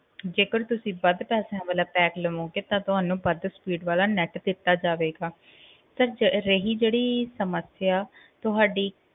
ਜੇਕਰ ਤੁਸੀ ਵੱਧ ਪੈਸਿਆਂ ਵਾਲਾ pack ਲਵੋਗੇ ਤਾਂ ਤੁਹਾਨੂੰ ਵੱਧ speed ਵਾਲਾ net ਦਿੱਤਾ ਜਾਵੇਗਾ sir ਜ~ ਰਹੀ ਜਿਹੜੀ ਸਮੱਸਿਆ ਤੁਹਾਡੀ,